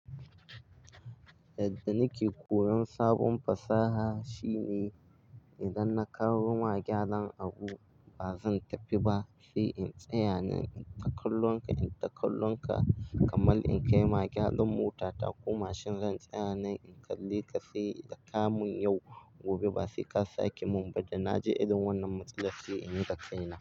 Yadda nake koyon sabon fasaha shine idan na karu magyadan abu ba zan tafi ba sai in tsaya nan in takallon ka, in takallon ka kamar in kai magyadan mota ta ko mashin zan tsaya nan in kalli ka sai da ka mun yau, gobe ba sai ka sake mun ba da na ji idan wannan matsala sai in yi dakaina.